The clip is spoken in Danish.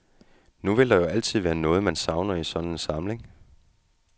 Nu vil der jo altid være noget, man savner i sådan en samling.